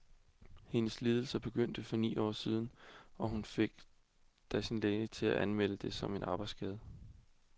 Hendes lidelse begyndte for ni år siden, og hun fik da sin læge til at anmelde det som en arbejdsskade.